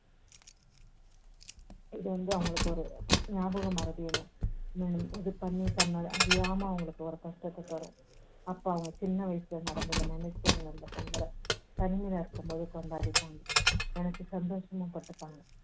இது வந்து அவங்களுக்கு ஒரு ஞாபகமறதின்னு இது பண்ணி தன்னை அறியாம ஒரு கஷ்டத்தை தரும். அப்போ அவங்க சின்ன வயசுல நடந்ததை நினைச்சு அவங்க அந்த பொங்கலை தனிமையில இருக்கும் போது கொண்டாடிப்பாங்க நினைச்சு சந்தோஷமும் பட்டுப்பாங்க